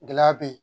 Gɛlɛya be yen